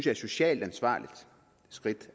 er et socialt ansvarligt skridt